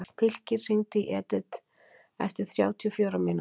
Fylkir, hringdu í Edith eftir þrjátíu og fjórar mínútur.